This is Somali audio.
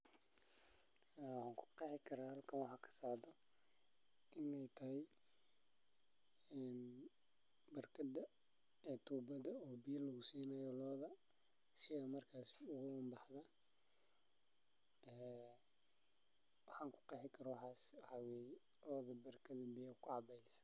dharka ama tubo biyo lagusinayo looda looda berkada biya kucabeso